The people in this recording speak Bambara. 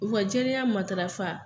U ka jɛlenya matarafa